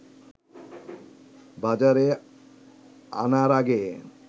বাজারে আনার আগে